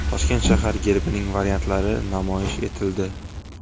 Toshkent shahar gerbining variantlari namoyish etildi .